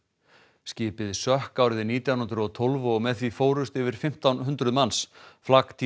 skipið sökk árið nítján hundruð og tólf og með því fórust yfir fimmtán hundruð manns flak